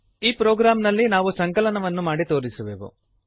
ಈ ಪ್ರೊಗ್ರಾಂನಲ್ಲಿ ನಾವು ಸಂಕಲನವನ್ನು ಮಾಡಿ ತೋರಿಸುವೆವು